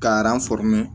Ka